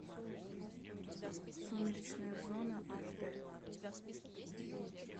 сумеречная зона аш дэ